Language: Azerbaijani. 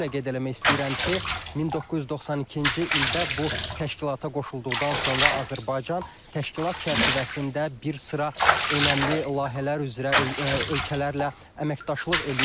Xüsusilə qeyd eləmək istəyirəm ki, 1992-ci ildə bu təşkilata qoşulduqdan sonra Azərbaycan təşkilat çərçivəsində bir sıra önəmli layihələr üzrə ölkələrlə əməkdaşlıq eləyir.